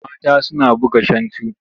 Mata suna buga shantu.